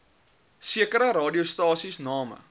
sekere radiostasies name